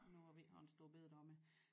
Nu hvor vi ikke har en store bededag med